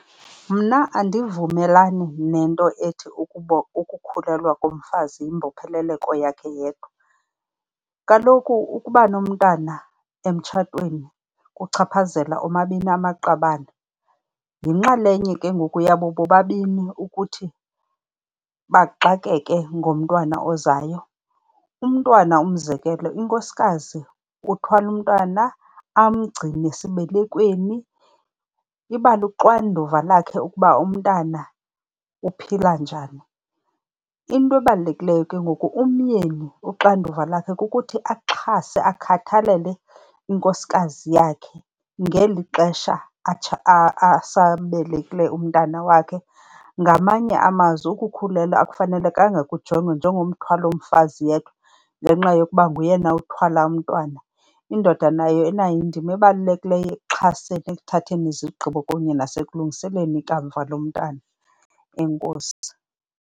Mna andivumelani nento ethi ukukhulelwa komfazi yimbopheleleko yakhe yedwa. Kaloku ukuba nomntana emtshatweni kuchaphazela omabini amaqabane. Yinxalenye ke ngoku yabo bobabini ukuthi baxakeke ngomntwana ozayo. Umntwana, umzekelo inkosikazi uthwala umntwana amgcine esibelekweni, iba luxanduva lakhe ukuba umntana uphila njani. Into ebalulekileyo ke ngoku umyeni uxanduva lakhe kukuthi axhase, akhathalele inkosikazi yakhe ngeli xesha asabelekileyo umntana wakhe. Ngamanye amazwi ukukhulelwa akufanelekanga kujongwe njengomthwalo womfazi yedwa ngenxa yokuba nguyena uthwala umntwana, indoda nayo inayo indima ebalulekileyo ekuxhaseni, ekuthatheni izigqibo kunye nasekulungiseleni ikamva lomntana. Enkosi.